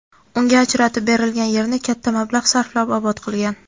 unga ajratib berilgan yerni katta mablag‘ sarflab obod qilgan.